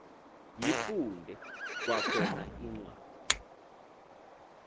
yifunde kwakhona incwadi